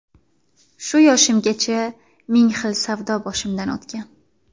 Shu yoshimgacha ming xil savdo boshimdan o‘tgan.